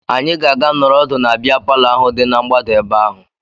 Anyị ga-aga nọrọ ọdụ na bịa palọ ahụ dị na mgbada ebe ahụ